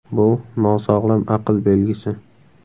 Bu – nosog‘lom aql belgisi.